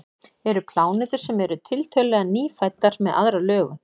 eru plánetur sem eru tiltölulega „nýfæddar“ með aðra lögun